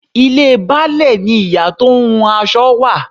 Ilé Baálẹ̀ ni ìyá tó ń hun aṣọ wà.